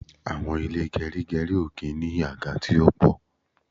Àwọn ilé gerigeri ó kí n ní àga tí ó po